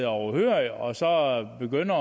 overhørig og begynder